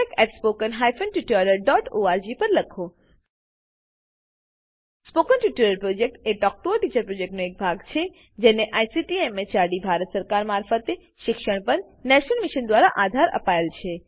spoken tutorial project talk to a teacher પ્રોજેક્ટનો એક ભાગ છે જે આઈસીટી એમએચઆરડી ભારત સરકાર મારફતે શિક્ષણ પર નેશનલ મિશન દ્વારા આધાર અપાયેલ છે